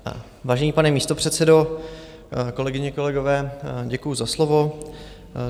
Vážený pane místopředsedo, kolegyně, kolegové, děkuju za slovo.